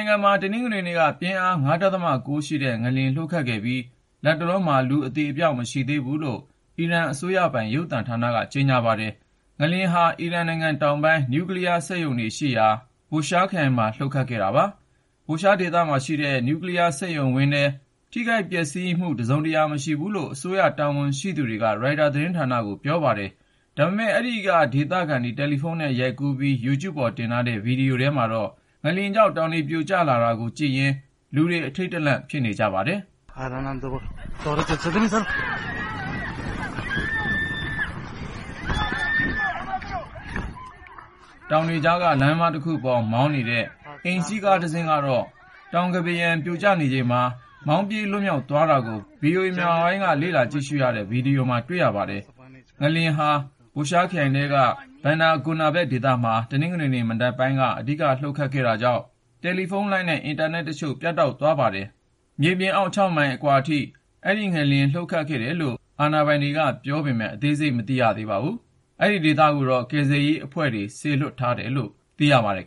ုင်ငံမှာ တနင်္ဂနွေနေ့က ပြင်းအား (၅.၉)ရှိတဲ့ ငလျင် လှုပ်ခတ်ခဲ့ပြီး လတ်တလောမှာ လူ အသေအပျောက် မရှိဘူးလို့ အီရန်အစိုးရပိုင် ရုပ်သံသတင်းက ကြေညာပါတယ်။ ငလျင်ဟာ အီရန်နိုင်ငံတောင်ပိုင်း နျူကလီးယား စက်ရုံရှိတဲ့ Bushehr ခရိုင်မှာ လှုပ်ခတ်ခဲ့တာပါ။ Bushehr ဒေသမှာရှိတဲ့ နျူကလီးယား စက်ရုံဝင်းထဲမှာ ထိခိုက်ပျက်စီးမှု တစုံတရာ မရှိဘူးလို့ အစိုးရတာဝန်ရှိ သူတွေက ရိုက်တာ သတင်းဌာနကို ပြောပါတယ်။ ဒါပေမဲ့ အဲဒီက ဒေသခံတွေ တယ်လီဖုန်းနဲ့ ရိုက်ကူးပြီး Youtube ပေါ်တင်ထားတဲ့ ဗီဒီယိုထဲမှာတော့ ငလျင်ကြောင့် တောင်တွေပြိုကျ လာတာကိုကြည့်ရင်း လူတွေ အထိန့်တလန့် ဖြစ်ခဲ့ကြပါတယ်။ တောင်တွေကြားက လမ်းမတခုပေါ် မောင်းနေတဲ့ အိမ်စီးကားတစင်းကတော့ တောင်းကမ်းပါးရံ ပြိုကျနေချိန်မှာ မောင်းပြေး လွတ်မြောက်သွားခဲ့တာကို VOA မြန်မာပိုင်းက လေ့လာကြည့်ရှုရတဲ့ ဗီဒီယိုမှာ တွေ့ရပါတယ်။ ငလျင်ဟာ Bushehr ခရိုင်ထဲက Bandar Gonaveh ဒေသမှာ တနင်္ဂနွေမနက်ပိုင်းက အဓိကလှုပ်ခဲ့တာကြောင့် တယ်လီဖုန်းလိုင်းနဲ့ အင်တာနက်တချို့ ပြတ်တောက်သွားပါတယ်။ ဒီငလျင်ဟာ မြေပြင်အောက် (၆)မိုင် အနက် အကွာဝေးထိ လှုပ်ခဲ့တယ်လို့ အာဏာပိုင်တွေ ပြောပေမယ့် အသေးစိတ်ကို မသိရ သေးပါဘူး။ ကယ်ဆယ်ရေးအဖွဲ့ တွေကိုတော့ စေလွှတ်ထားတယ်လို့ ပြောပါတယ်။